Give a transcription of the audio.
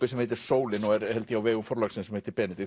sem heitir sólin og er held ég á vegum Forlagsins sem heitir